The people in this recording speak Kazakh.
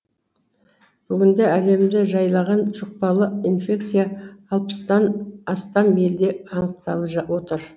бүгінде әлемді жайлаған жұқпалы инфекция алпыстан астам елде анықталып отыр